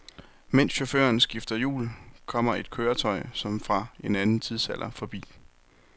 Mens chaufføren skifter hjul, kommer et køretøj som fra en anden tidsalder forbi.